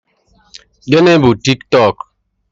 Gịnị bu Tiktọk?